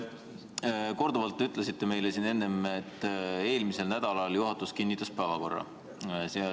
Te korduvalt ütlesite meile siin enne, et eelmisel nädalal juhatus kinnitas päevakorra.